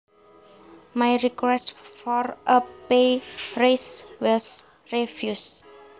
My request for a pay raise was refused